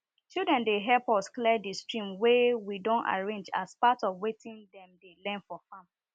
children dey help us clear di stream wey we don arrange as part of wetin dem dey learn for farm